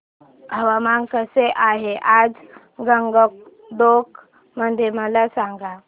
हवामान कसे आहे आज गंगटोक मध्ये मला सांगा